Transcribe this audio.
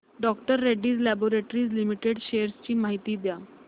डॉ Reddy's laboratories limited shares ची माहिती द्या